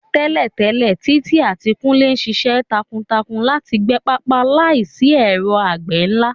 Tẹ́lẹ̀tẹ́lẹ̀, Titi àti Kunle ṣiṣẹ́ takuntakun láti gbẹ pápá láìsí ẹ̀rọ àgbẹ̀ ńlá.